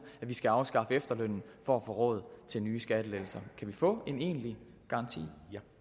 at vi skal afskaffe efterlønnen for at få råd til nye skattelettelser kan vi få en egentlig garanti